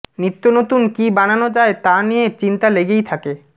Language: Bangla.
নিত্য নতুন কী বানানো যায় তা নিয়ে চিন্তা লেগেই থাকে